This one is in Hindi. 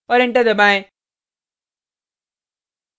और enter दबाएँ